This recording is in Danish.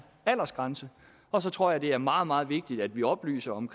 aldersgrænse og så tror jeg at det er meget meget vigtigt at vi oplyser om